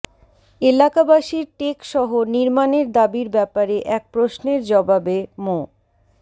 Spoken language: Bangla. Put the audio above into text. এলাকাবাসীর টেকসহ নির্মাণের দাবির ব্যাপারে এক প্রশ্নের জবাবে মো